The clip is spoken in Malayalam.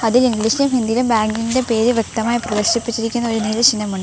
ഇതിൽ ഇംഗ്ലീഷിലും ഹിന്ദിയിലും ബാങ്കിന്റെ പേര് വ്യക്തമായി പ്രദർശിപ്പിച്ചിരിക്കുന്ന ഒരു നീല ചിഹ്നമുണ്ട്.